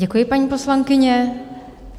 Děkuji, paní poslankyně.